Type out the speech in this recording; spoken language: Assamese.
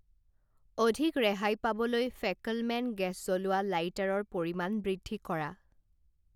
অধিক ৰেহাই পাবলৈ ফেকলমেন গেছ জ্বলোৱা লাইটাৰৰ পৰিমাণ বৃদ্ধি কৰা।